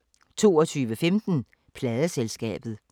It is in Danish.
22:15: Pladeselskabet